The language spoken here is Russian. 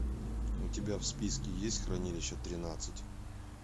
у тебя в списке есть хранилище тринадцать